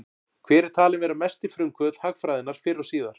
Hver er talinn vera mesti frumkvöðull hagfræðinnar fyrr og síðar?